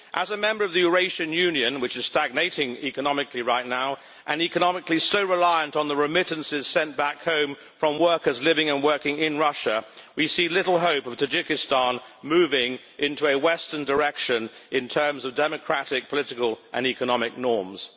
As a member of the Eurasian Union which is stagnating economically right now, and economically so reliant on the remittances sent back home from workers living and working in Russia, we see little hope of Tajikistan moving in a western direction in terms of democratic, political and economic norms.